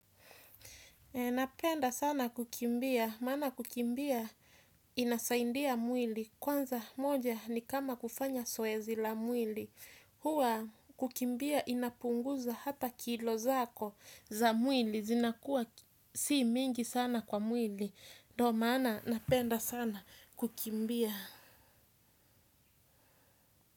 Napenda sana kukimbia, maana kukimbia inasaindia mwili. Kwanza, moja ni kama kufanya soezi la mwili. Huwa kukimbia inapunguza hata kilo zako za mwili. Zinakuwa si mingi sana kwa mwili. Ndo, maana napenda sana kukimbia.